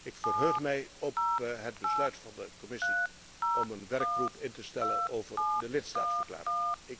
Ik verheug mij op het besluit van de Commissie om een werkgroep in te stellen over de lidstaatverklaring.